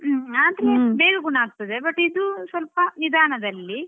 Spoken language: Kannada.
ಆದ್ರೆ ಬೇಗ ಗುಣ ಆಗ್ತದೆ but ಆದ್ರೆ ಇದು ಸ್ವಲ್ಪ ನಿಧಾನದಲ್ಲಿ.